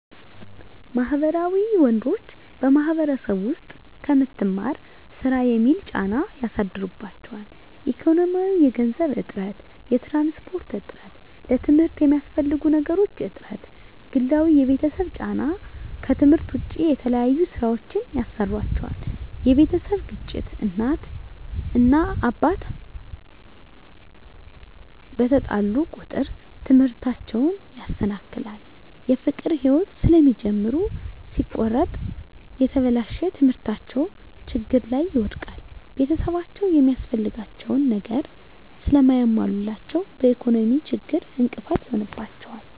ማህበራዊ ወንዶች በማህበረሰቡ ዉስጥ ከምትማር ስራ የሚል ጫና ያሳድሩባቸዋል። ኢኮኖሚያዊ የገንዘብ እጥረት፣ የትራንስፖርት እጥረት፣ ለትምርት የሚያስፈልጉ ነገሮች እጥረት፣ ግላዊ የቤተሰብ ጫና ከትምህርት ዉጭ የተለያዩ ስራወችን ያሰሩአቸዋል የቤተሰብ ግጭት እናት እና አባት አቸዉ በተጣሉ ቁጥር ትምህርታቸዉን ያሰናክላል። የፍቅር ህይወት ስለሚጀምሩ ሲቆረጥ የተበላሸ ትምህርታቸዉን ችግር ላይ ይወድቃል። ቤተሰብአቸዉ የሚያስፈልጋቸዉን ነገር ስለማያሞሉላቸዉ በኢኮኖሚ ችግር እንቅፋት ይሆንባቸዋል።